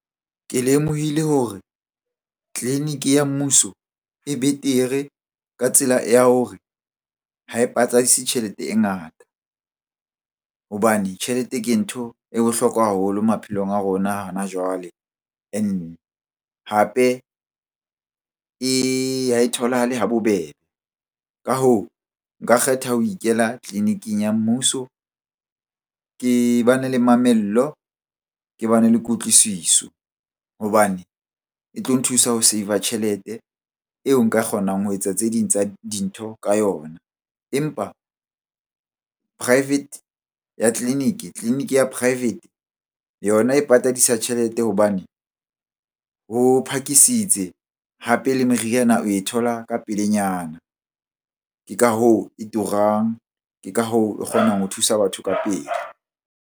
Ke lemohile hore tleliniki mmuso e betere ka tsela ya hore ha e patadisa tjhelete e ngata. Hobane tjhelete ke ntho e bohlokwa haholo maphelong a rona hana jwale and hape ha e tholahale ha bobebe. Ka hoo, nka kgetha ho ikela tleliniking ya mmuso ke bane le mamello, ke bane le kutlwisiso hobane e tlo nthusa ho save-a tjhelete eo nka kgonang ho etsa tse ding tsa dintho ka yona. Empa private ya tleliniki, tleliniki ya private yona e patadisa tjhelete hobane ho phakisitse hape le meriana oe thola ka pelenyana. Ke ka hoo e turang, ke ka hoo e kgonang ho thusa batho ka pele.